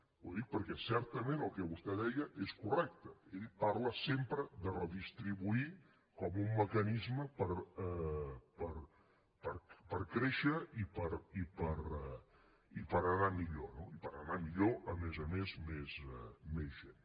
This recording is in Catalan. ho dic perquè certament el que vostè deia és correcte ell parla sempre de redistribuir com un mecanisme per créixer i per anar millor no i per anar millor a més a més més gent